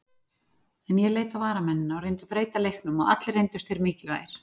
En ég leit á varamennina og reyndi að breyta leiknum og allir reyndust þeir mikilvægir.